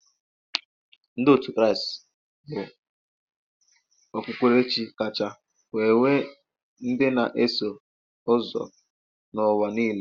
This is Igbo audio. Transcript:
Ndị otu Kraịst bụ okpukperechi kacha wee nwe ndị na-eso ụzọ n'ụwa niile.